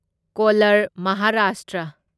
colour Maharashtra